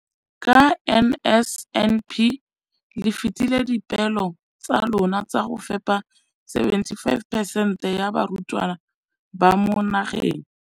Ka NSNP le fetile dipeelo tsa lona tsa go fepa masome a supa le botlhano a diperesente ya barutwana ba mo nageng.